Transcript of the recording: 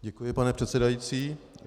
Děkuji, pane předsedající.